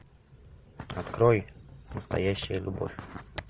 открой настоящая любовь